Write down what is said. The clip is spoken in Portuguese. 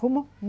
Como?